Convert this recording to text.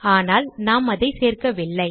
ஆனால் நாம் அதை சேர்க்கவில்லை